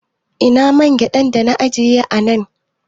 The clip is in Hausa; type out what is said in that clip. Ina man gyaɗan dana ajiye a nan